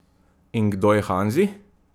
In kdo je Hanzi?